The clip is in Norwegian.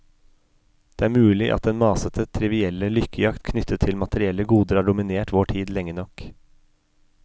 Det er mulig at den masete, trivielle lykkejakt knyttet til materielle goder har dominert vår tid lenge nok.